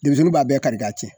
Denmisɛnnu b'a bɛɛ kari ka cɛn